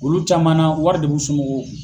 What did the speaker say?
Olu caman na wari de b'u somɔgɔw kun.